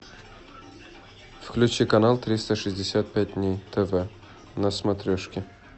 включи канал триста шестьдесят пять дней тв на смотрешки